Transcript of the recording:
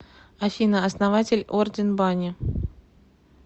афина основатель орден бани